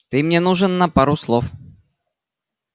ты мне нужен на пару слов